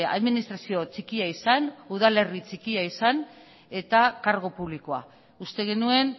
administrazio txikia izan udalerri txikia izan eta kargu publikoa uste genuen